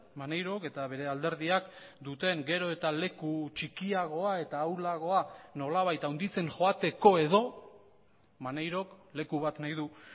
maneirok eta bere alderdiak duten gero eta leku txikiagoa eta ahulagoa nolabait handitzen joateko edo maneirok leku bat nahi du